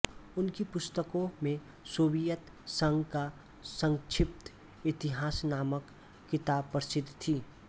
उनकी पुस्तकों में सोवियत संघ का संक्षिप्त इतिहास नामक किताब प्रसिद्ध थी